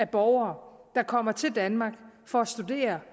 borgere der kommer til danmark for at studere